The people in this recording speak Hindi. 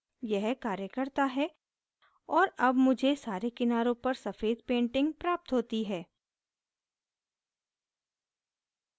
यह कार्य करता है और अब मुझे सारे किनारों पर सफ़ेद painting प्राप्त होती है